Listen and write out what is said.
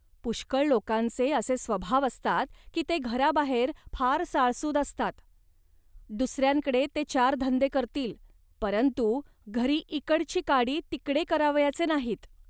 पुष्कळ लोकांचे असे स्वभाव असतात की ते घराबाहेर फार साळसूद असतात. दुसऱ्यांकडे ते चार धंदे करतील, परंतु घरी इकडची काडी तिकडे करावयाचे नाहीत